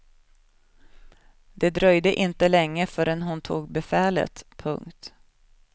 Det dröjde inte länge förrän hon tog befälet. punkt